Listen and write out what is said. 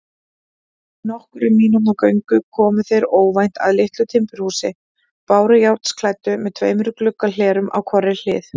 Eftir nokkurra mínútna göngu komu þeir óvænt að litlu timburhúsi, bárujárnsklæddu með tveimur gluggahlerum á hvorri hlið.